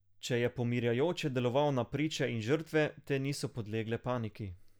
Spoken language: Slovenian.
Če je pomirjajoče deloval na priče in žrtve, te niso podlegle paniki.